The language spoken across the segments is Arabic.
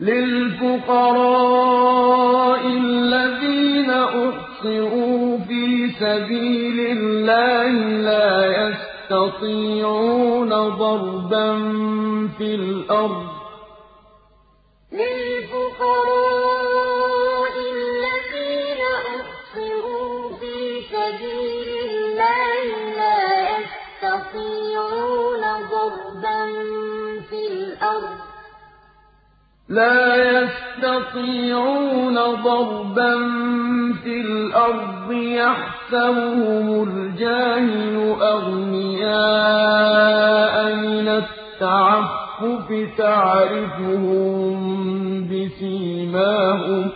لِلْفُقَرَاءِ الَّذِينَ أُحْصِرُوا فِي سَبِيلِ اللَّهِ لَا يَسْتَطِيعُونَ ضَرْبًا فِي الْأَرْضِ يَحْسَبُهُمُ الْجَاهِلُ أَغْنِيَاءَ مِنَ التَّعَفُّفِ تَعْرِفُهُم بِسِيمَاهُمْ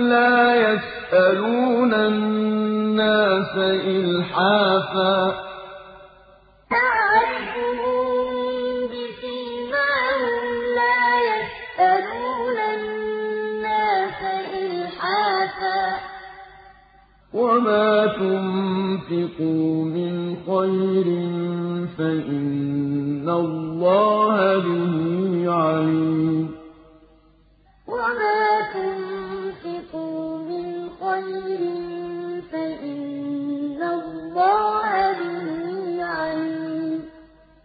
لَا يَسْأَلُونَ النَّاسَ إِلْحَافًا ۗ وَمَا تُنفِقُوا مِنْ خَيْرٍ فَإِنَّ اللَّهَ بِهِ عَلِيمٌ لِلْفُقَرَاءِ الَّذِينَ أُحْصِرُوا فِي سَبِيلِ اللَّهِ لَا يَسْتَطِيعُونَ ضَرْبًا فِي الْأَرْضِ يَحْسَبُهُمُ الْجَاهِلُ أَغْنِيَاءَ مِنَ التَّعَفُّفِ تَعْرِفُهُم بِسِيمَاهُمْ لَا يَسْأَلُونَ النَّاسَ إِلْحَافًا ۗ وَمَا تُنفِقُوا مِنْ خَيْرٍ فَإِنَّ اللَّهَ بِهِ عَلِيمٌ